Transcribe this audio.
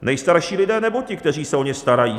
Nejstarší lidé, nebo ti, kteří se o ně starají?